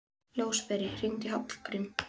Ljósberi, hringdu í Hallgrímínu.